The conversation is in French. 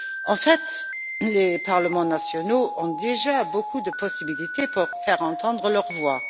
En fait, les parlements nationaux ont déjà beaucoup de possibilités pour faire entendre leur voix.